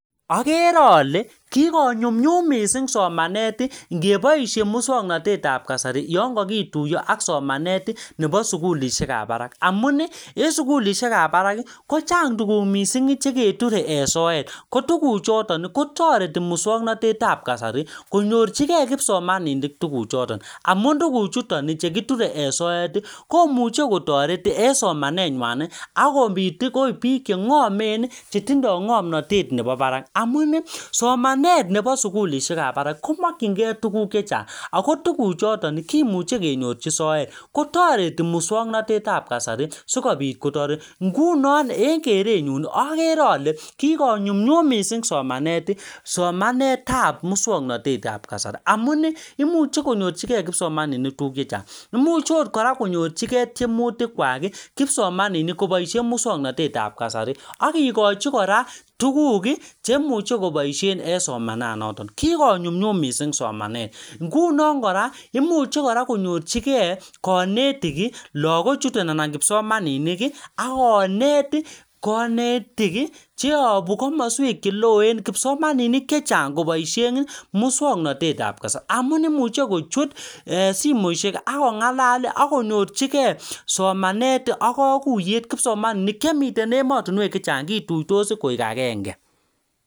Agere ale kikonyumnyum missing somanet, ngeboisie muswagnatet ap kasari, yan kakituyo ak somanet nebo sukulishek ap barak. Amun, en sukulishekap barak, kochang tuguk missing che keture en soet. Ko tuguk choton, kotoreti muswagnatetap kasari, konyorchikei kipsomaninik tuguk choton. Amun tuguk chuton chekiture en soet, komuchi kotoret en somanet nywan, akobit ko biik che ngomen, che tindoi ngomnotet nebo barak. Amun, somanet nebo sukulishekap barak, komakchinkey tugun chechang. Ako tugun choton, kimuche kenyorchi soet. Kotoreti muswagnatetap kasari, sikobit kotoret. Ngunon en kerenyun, agere ale kikonyumnyum missing somanet, somanetap muswagnatetap kasari. Amun, imuchi konyorchikei kipsomaninik tuguk chechang. Imuch akot kora konyorchikei tiemutik kwak kipsomaninik koboisie muswaganetab kasari. Akikochi kora tuguk chemuche koboisie eng somanat noton. Kikonyumnyum missing somanet. Nguno kora, imuchi kora koyorchikei kanetik, lagok chuton anan kipsomaninik, akonet kanetik cheabu komaswek che loen kipsomaninik chechang koboisien muswagnatetap kasari. Amun imuche kochut um simoisiek akong'alal, akonyorchikei somanet ak kakuyet kipsomaninik chemiten emotunwek chechang, kituitos koek agenge.